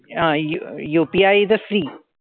अह UPI is a free.